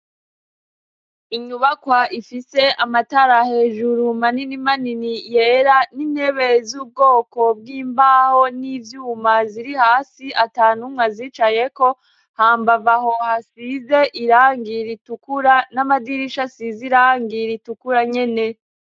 Inyubakwa ifise amatara hejuru manini manini yera n'intebe z'ubwoko bw'imbaho n'ivyuma ziri hasi atantumw'azicayeko hambav'aho hasize irangi ritukura n'amadirisha asiz'irangi ritukura nyene.